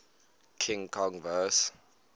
king kong vs